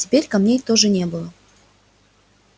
теперь камней тоже не было